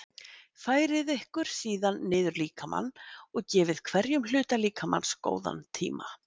Færið ykkur síðan niður líkamann og gefið hverjum hluta líkamans góðan tíma.